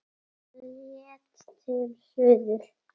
Hann hélt til suðurs.